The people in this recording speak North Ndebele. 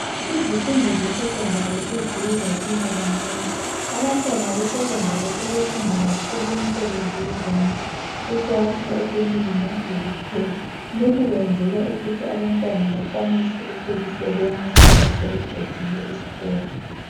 Izifundo zesecondary seziye zatshintsha kancane abantwana besecondary sebefunda kakhulu imisebenzi yezandla ukwakha ukulima lokupheka lokhu kwenzelwa ukuthi abantwana bakwanise ukuzisebenza loba sebeqedile isikolo.